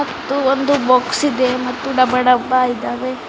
ಮತ್ತು ಒಂದು ಬಾಕ್ಸ್ ಇದೆ ಮತ್ತು ಡಬ ಡಬ ಇದೆ.